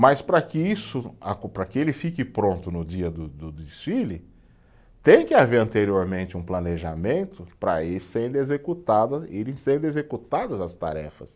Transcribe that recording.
Mas para que isso, para que ele fique pronto no dia do do desfile, tem que haver anteriormente um planejamento para ir sendo executada, irem sendo executadas as tarefas.